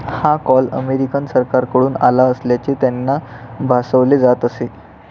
हा call American सरकारकडून आला असल्याचे त्यांना भासवले जात असे.